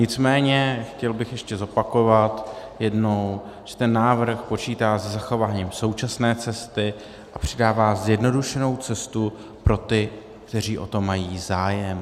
Nicméně chtěl bych ještě zopakovat jednou, že ten návrh počítá se zachováním současné cesty a přidává zjednodušenou cestu pro ty, kteří o to mají zájem.